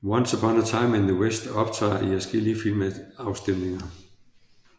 Once Upon a Time in the West optræder i adskillige filmafstemninger